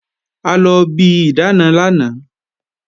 A lọ bi ìdáàna lánàá